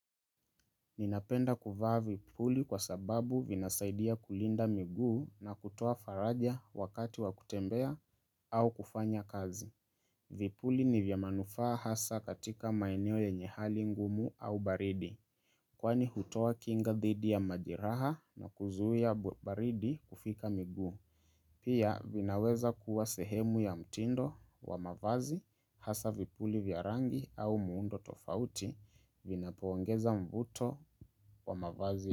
Ninapenda kufaa vipuli kwa sababu vinasaidia kulinda miguu na kutoa faraja wakati wakutembea au kufanya kazi. Vipuli ni vyamanufaa hasa katika maeneo yenyehali ngumu au baridi. Kwani hutoa kinga dhidi ya majeraha na kuzuia baridi kufika miguu. Pia vinaweza kuwa sehemu ya mtindo wa mavazi hasa vipuli vya rangi au muundo tofauti vina poongeza mvuto. Kwa mafazi.